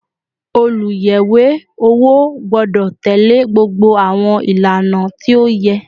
Oluyẹwe owo gbọdọ tẹle gbogbo àwọn ìlànà tí ó yẹ